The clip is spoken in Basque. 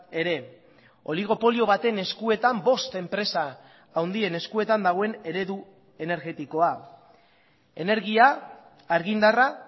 ere oligopolio baten eskuetan bost enpresa handien eskuetan dagoen eredu energetikoa energia argindarra